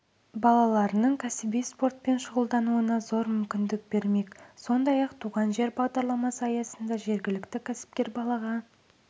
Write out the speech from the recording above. балаларының кәсіби спортпен шұғылдануына зор мүмкіндік бермек сондай-ақ туған жер бағдарламасы аясында жергілікті кәсіпкер балаға